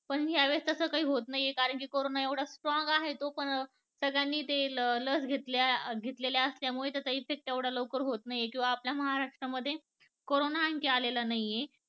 पण ह्या वेळेस तस काही होत नाहीये कारण कि करोना एवढा strong आहे तो पण सगळ्यांनी ते लस घेतलेल्या असल्यामुळे त्याचा effect एवढा लवकर होत नाहीये जो आपल्या महाराष्ट्रात मध्ये करोना आणखी आलेला नाहीये